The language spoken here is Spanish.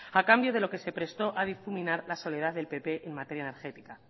a cambio de lo que se prestó a difuminar la soledad del pp en materia energética